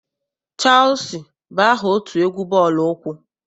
Cheelusi bụ aha otu egwu bọọlụ ụkwụ.